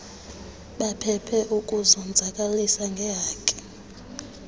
baphephe ukuzonzakalisa ngeehaki